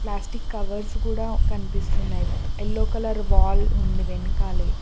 Plastic covers కూడా కనిపిస్తున్నాయి yellow colour wall ఉంది వెనకాలే.